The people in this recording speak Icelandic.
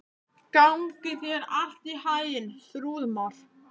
Gangi þér allt í haginn, Þrúðmar.